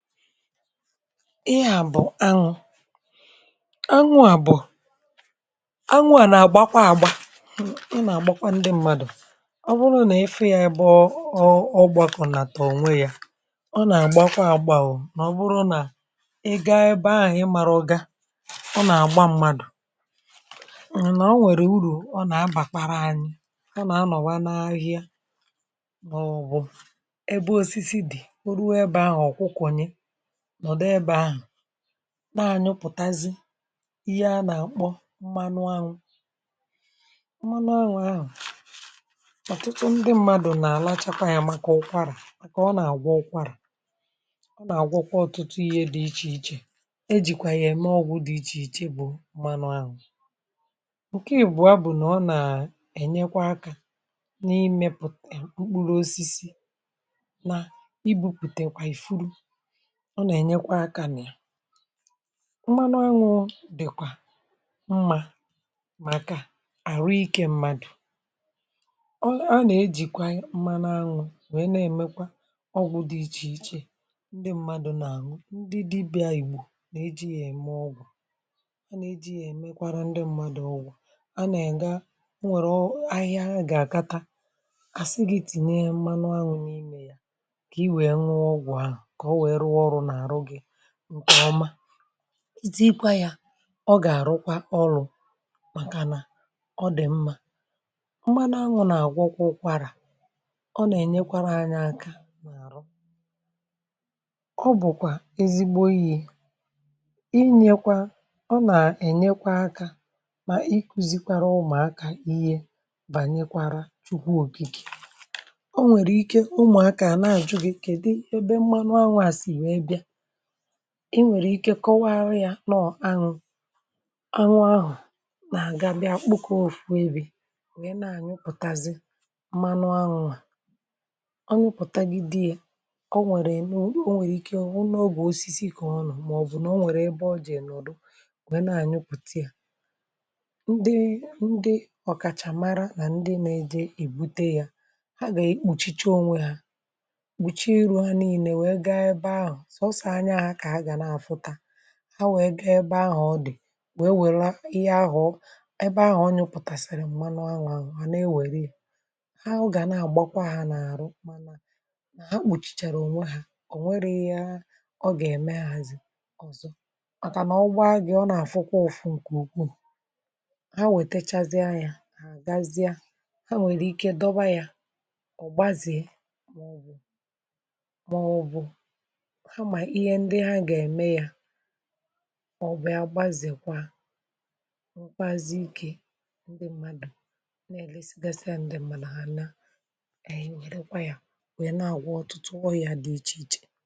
Ihe a bụ̀ anwụ anwụ̇ a bụ anwụ̇ à nà-àgbakwa àgba ọ nà-àgbakwa ndị mmadụ̀ ọ bụrụ nà ị fụ yȧ ebe ọ ọgbakọ̇ nà tà ònwe yȧ, ọ nà-àgbakwa àgba ọ nà ọ bụrụ nà ị gȧ ebe ahụ̀ i marọ ga ọ nà-àgba mmadụ̀ ǹǹà o nwèrè urù ọ nà-abàkwara anyị, ọ nà-anọ̀wa nà-ahịhịa maọbụ̀ ebe osisi dị̀ o rùo ebe ahụ̀ ọkwụkonye nọ̀dụ ebe ahụ̀ na-ànyụpụ̀tazị ihe a nà-àkpọ mmanụ anwụ̇, mmanụ anwụ̇ ahụ̀ ọ̀tụtụ ndị mmadụ̀ nà-àlachakwa yà màkà ụkwarà màkà ọ nà-àgwọ ụkwarà, ọ nà-àgwọkwọ ọtụtụ ihe dị ichè ichè, ejìkwà yà ème ọgwụ̇ dị ichè ichè bụ mmanụ anwụ̀. Ǹkè ị̀bụ̀ a bụ̀ nà ọ nà-ènyekwa akȧ n’imėpùta mkpụrụ osisi na ibu̇pùtekwa i furu ọ nà-ènyekwa akȧ nà ya. Mmanụ aṅwụ̇ dị̀kwà mmà màkà àru ikė mmadù, ọ a nà ejìkwa mmanụ aṅwụ̇ nwèe na èmekwa ọgwụ̇ dị ichè ichè ndị mmadụ̇ nà-anụo, ndị dịbị̇a ìgbò nà-eji yȧ ème ọgwụ̀ a nà-eji yȧ èmekwara ndị mmadụ̇ ọgwụ̀, a nà- éga e nwèrè ahịhịa ha gà-àkata a sị gi tinye mmanụ aṅwụ̇ n’imė ya kà i nwee ṅụọ ọgwụ̀ ahụ̀ ka ọ wee rụọ ọrụ na-ahụ gị nkè ọma, iti kwa ya ọ gàrụkwa ọrụ̇ màkànà ọ dì mmȧ. Mmanụ anwụ̇ nà-àgwọ kwa ụkwara ọ nà-ènyekwara anyị aka na-aru. Ọ bụ̀kwà ezigbo ihe inyekwa ọ nà-ènyekwa aka mà ikùzikwara ụmụ̀akȧ ihe bànyekwara chukwu òkìkè, ọ nwèrè ike ụmụ̀akȧ à na-àjụ gị kèdụ ebe mmanụ anwụ̇ à sì nwèè bịa, inwere ike kọwaara ya nọọ anwụ anwụ ahụ nà-àgabie kpụkọ òfu ebì wee nà-anyụpụ̀tazie mmanụ anwụ̇, ọ nyụpụtagi di ya ọ nwèrè ị nọọ nwèrè ike ọ wụ na ọ bu osisi ka ọ nọ̀ọ mà ọ̀ bụ̀ nà ọ nwèrè ebe ọ je nọdụ wee nà-anyụpụ̀ta ya, ndị ndị ọ̀kàchàmara nà ndị nȧ-ėje èbute ya, ha gà-ekpùchicha onwe ha, kpùchie iru ha n’ine wee gaa ebe ahụ̀ soso anya ka ha ga na-afụta ha wẹ̀ẹ̀ gȧ-ẹbẹ ahụ̀ ọ dị̀, wẹ̀e wẹ̀lu ihe ahụ̀ ọ ẹbẹ ahụ̀ ọ nyụ pụtàsịrị m̀manụ anwụ ahụ ha nà e wère ya, ha ọ gà na-àgbakwa ha nà-àrụ mà ha gbòchìchàrà ònwe ha ọ̀ nwẹrẹ ihe a ọ gà-ẹ̀mẹ ha zì ọ̀zọ, màkà nà-ọgba gị̇ ọ nà-àfụkwa ụ̀fụ ǹkè ukwuù, ha wẹ̀tẹchazịa yȧ hà gazie ha nwẹ̀rẹ̀ ike dọba yȧ ọ̀gbazịe maọ̀bụ̀ ha ma ihe ndị ha ga-eme ya ọ bịa gbazèkwa nwekwazị ikė ndị mmadụ̀ n’èlesigasiȧ ndị̇ mmadụ hà nà-ènye nyẹrẹ kwa yȧ nwẹ nà-àgwọ ọtụtụ ọrịa dị ichè ichè.